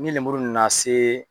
Ni lemuru nana se